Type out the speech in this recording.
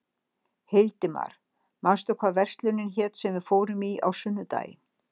Hildimar, manstu hvað verslunin hét sem við fórum í á sunnudaginn?